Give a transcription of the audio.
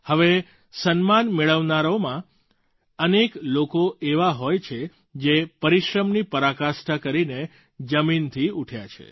હવે સન્માન મેળવનારાઓમાં અનેક લોકો એવા હોય છે જે પરિશ્રમની પરાકાષ્ઠા કરીને જમીનથી ઊઠ્યા છે